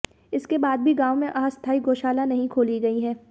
इसके बाद भी गांव में अस्थाई गाोशाला नहीं खोली गई है